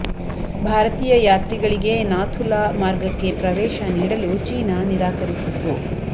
ಭಾರತೀಯ ಯಾತ್ರಿಗಳಿಗೆ ನಾಥು ಲಾ ಮಾರ್ಗಕ್ಕೆ ಪ್ರವೇಶ ನೀಡಲು ಚೀನಾ ನಿರಾಕರಿಸಿತ್ತು